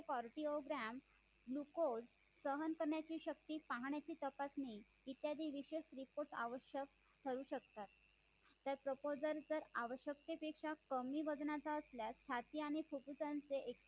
एक gram glucose सहन करण्याची शक्ती पाहण्याची तपासणी इत्यादी विशेष report आवश्यक ठरू शकतात तर proposal तर आवश्यकतेपेक्षा कमी वजनाचा असल्यास छाती आणि फुफुसांचे